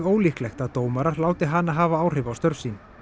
ólíklegt að dómarar láti hana hafa áhrif á störf sín